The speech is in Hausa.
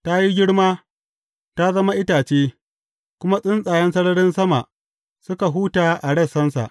Ta yi girma, ta zama itace, kuma tsuntsayen sararin sama suka huta a rassansa.